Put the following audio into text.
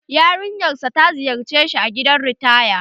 Yarinya sa ta ziyarce shi a gidan ritaya